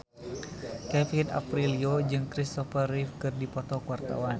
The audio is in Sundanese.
Kevin Aprilio jeung Kristopher Reeve keur dipoto ku wartawan